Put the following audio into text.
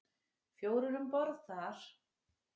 Fjórir um borð þar.